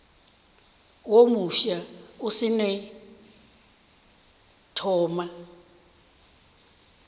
wo mofsa o seno thoma